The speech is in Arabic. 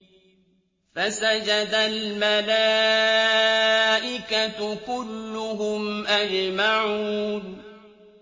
فَسَجَدَ الْمَلَائِكَةُ كُلُّهُمْ أَجْمَعُونَ